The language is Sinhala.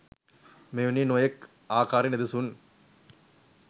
මෙවැනි නොයෙක් ආකාරයේ නිදසුන්